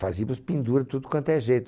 Fazíamos pendura tudo quanto é jeito.